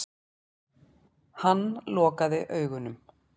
Hann lokaði augunum.